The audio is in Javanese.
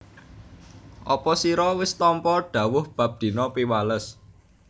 Apa sira wis tampa dhawuh bab dina Piwales